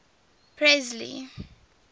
presley